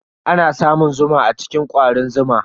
Ana samun zuma a cikin kwarin zuma.